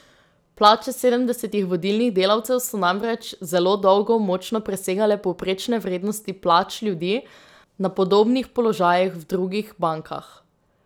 Plače sedemdesetih vodilnih delavcev so namreč zelo dolgo močno presegale povprečne vrednosti plač ljudi na podobnih položajih v drugih bankah.